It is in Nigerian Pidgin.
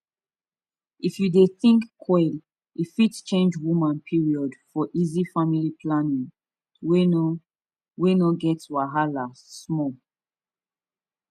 if you dey think coil e fit change woman period --for easy family planning wey no wey no get wahala. pause small